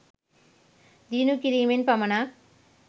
දියුණු කිරීමෙන් පමණක්